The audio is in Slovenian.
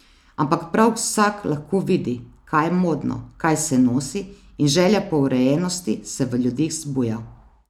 Ampak prav vsak lahko vidi, kaj je modno, kaj se nosi, in želja po urejenosti se v ljudeh zbuja.